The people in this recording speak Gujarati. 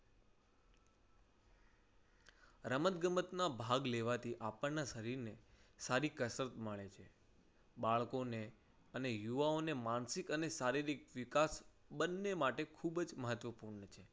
રમત ગમતમાં ભાગ લેવાથી આપણના શરીરને સારી કસરત મળે છે. બાળકોને અને યુવાઓને માનસિક અને શારીરિક વિકાસ બંને માટે ખૂબ જ મહત્વપૂર્ણ છે.